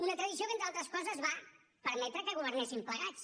una tradició que entre altres coses va permetre que governéssim plegats